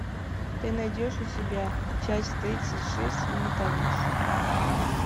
ты найдешь у себя часть тридцать шесть менталист